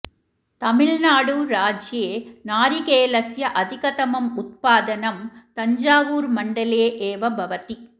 तमिऴ्नाडु राज्ये नारिकेलस्य अधिकतमम् उत्पादनं तञ्जावूरुमण्डले एव भवति